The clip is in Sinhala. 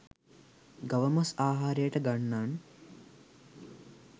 ගව මස් ආහාරයට ගන්නන්